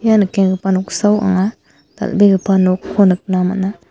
ia nikenggipa noksao anga dal·begipa nokko nikna man·a.